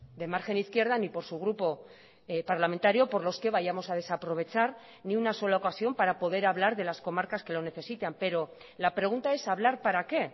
de margen izquierda ni por su grupo parlamentario por los que vayamos a desaprovechar ni una sola ocasión para poder hablar de las comarcas que lo necesitan pero la pregunta es hablar para qué